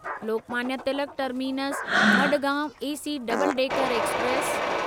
Lokmanya Tilak terminus Madgaon AC double decker express